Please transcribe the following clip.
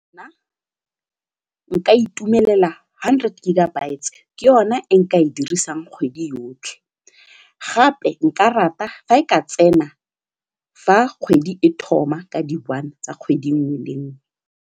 Nna nka itumelela hundred gigabytes ke yone e nka e dirisang kgwedi yotlhe gape nka rata fa e ka tsena fa kgwedi e thoma ka di one tsa kgwedi nngwe le nngwe.